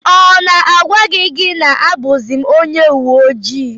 Ọ na m agwaghi gị na abuzim ọnye uweojii?